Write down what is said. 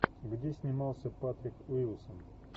где снимался патрик уилсон